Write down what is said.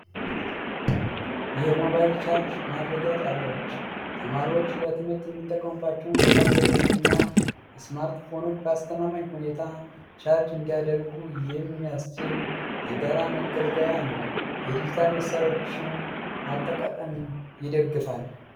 የሞባይል ቻርጅ ማድረጊያ ጣቢያዎች ተማሪዎች ለትምህርት የሚጠቀሙባቸውን ታብሌቶችና ስማርትፎኖች በአስተማማኝ ሁኔታ ቻርጅ እንዲያደርጉ የሚያስችል የጋራ መገልገያ ነው። የዲጂታል መሣሪያዎችን አጠቃቀምም ይደግፋል ።